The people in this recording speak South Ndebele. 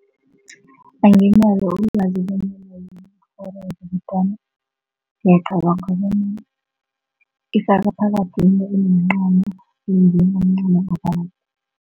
Anginalo ulwazi ngiyacabanga bona ifaka phakathi